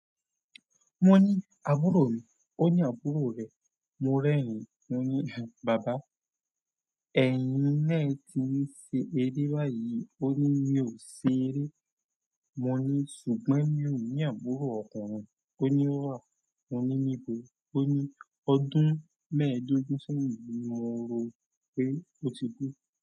Mo ní àbúrò mi, ó ní àbúrò rẹ, mo rẹ́rìn-ín, mo ní bàbá, ẹ̀yin náà ti ń ṣe eré báyìí, ó ní mi ò ṣe eré, mo ní ṣùgbọ́n mi ò ní àbúrò ọkùnrin, ó ní ó wà, mo ní níbo? Ó ní ọdún mẹ́ẹ̀dógún sẹ́yìn ni mo rò pé ó ti kú.